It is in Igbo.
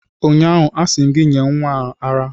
ụnyaahụ, asị m gị nye nwa a ara!